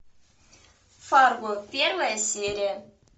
фарго первая серия